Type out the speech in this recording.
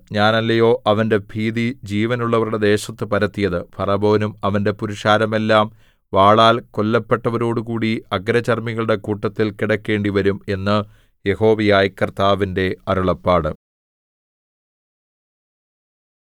ഞാനല്ലയോ അവന്റെ ഭീതി ജീവനുള്ളവരുടെ ദേശത്തു പരത്തിയത് ഫറവോനും അവന്റെ പുരുഷാരമെല്ലാം വാളാൽ കൊല്ലപ്പെട്ടവരോടുകൂടി അഗ്രചർമ്മികളുടെ കൂട്ടത്തിൽ കിടക്കേണ്ടിവരും എന്ന് യഹോവയായ കർത്താവിന്റെ അരുളപ്പാട്